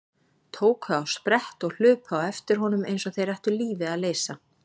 Tóku á sprett og hlupu á eftir honum eins og þeir ættu lífið að leysa.